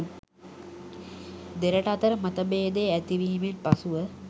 දෙරට අතර මතභේදය ඇතිවීමෙන් පසුව